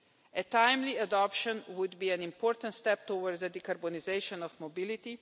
A timely adoption would be an important step towards the de-carbonisation of mobility.